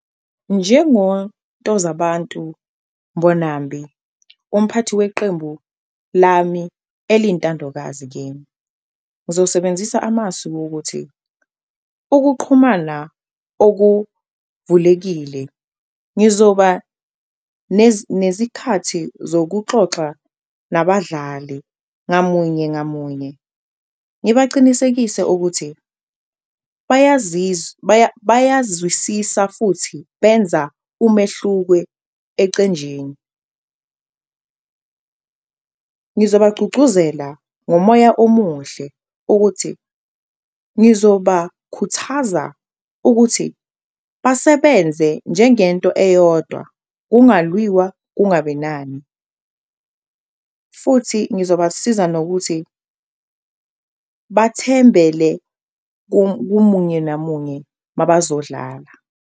NjengoNtozabantu Mbonambi umphathi weqembu lami eliyintandokazi kimi, ngizosebenzisa amasu wokuthi ukuqhumana okuvulekile ngizoba nezikhathi zokuxoxa nabadlali ngamunye ngamunye, ngibacinisekise ukuthi bayazwisisa futhi benza umehluko ecenjini. Ngizobagcugcuzela ngomoya omuhle ukuthi ngizobakhuthaza ukuthi basebenze njengento eyodwa kungalwiwa kungabi nani futhi ngizobasiza nokuthi bathembele kumunye nomunye mabazodlala.